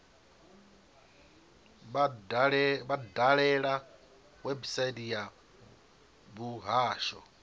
vha dalele website ya muhasho